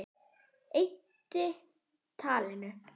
Eyddi talinu.